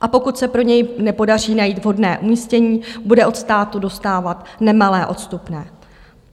A pokud se pro něj nepodaří najít vhodné umístění, bude od státu dostávat nemalé odstupné.